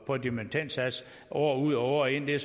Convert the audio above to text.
på en dimittendsats år ud og år ind det